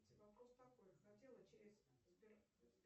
вопрос такой хотела через сбер